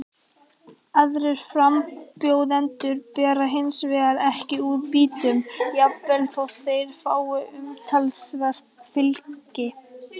Aðrir frambjóðendur bera hins vegar ekkert úr býtum, jafnvel þótt þeir fái umtalsvert fylgi.